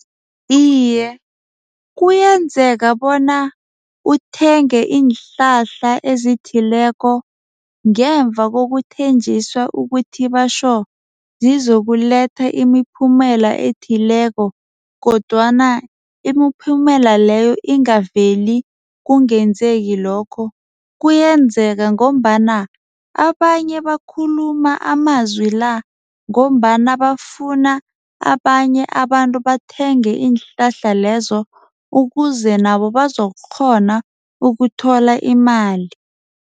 Iye, kuyenzeka bona uthenge iinhlahla ezithileko ngemva kokuthenjiswa ukuthi batjho zizokuletha imiphumela ethileko kodwana imiphumela leyo ingaveli kungenzeki lokho. Kuyenzeka ngombana abanye bakhuluma amazwi la ngombana bafuna abanye abantu bathenge iinhlahla lezo ukuze nabo bazokukghona ukuthola imali.